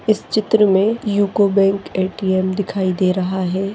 इस चित्र मे यूको बैंक ए_टी_एम दिखाई दे रहा है।